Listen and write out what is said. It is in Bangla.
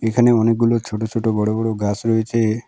এখানে অনেকগুলো ছোট ছোট বড় বড় গাস রয়েছে।